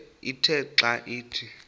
ithe xa ithi